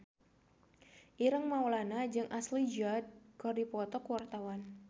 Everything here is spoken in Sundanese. Ireng Maulana jeung Ashley Judd keur dipoto ku wartawan